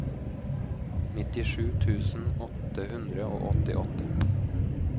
nittisju tusen åtte hundre og åttiåtte